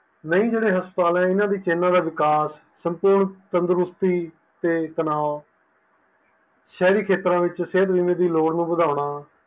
ਨਹੀਂ ਜਿਹੜੇ ਹਸਪਤਾਲ ਆ ਇਦੇ ਵਿੱਚ ਇਹਨਾਂ ਦੇ ਵਿਕਾਸ ਸੰਪੂਰਨ ਤੰਦਰੁਸਤੀ ਤੇ ਤਨਾਵ ਸ਼ਹਿਰੀ ਖੇਤਰਾਂ ਵਿੱਚ ਸਿਹਤ ਬੀਮੇ ਲੋੜ ਨੂੰ ਵਧਾਉਣਾ